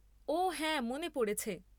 ওঃ হ্যাঁ, মনে পড়েছে।